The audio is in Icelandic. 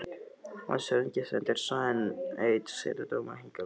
Landshöfðingi sendir svo enn einn setudómara hingað vestur.